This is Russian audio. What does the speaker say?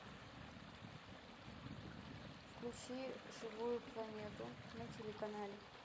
включи живую планету на телеканале